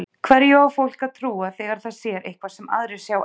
Hverju á fólk að trúa þegar það sér eitthvað sem aðrir sjá ekki?